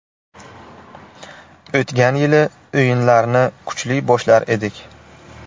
O‘tgan yili o‘yinlarni kuchli boshlar edik.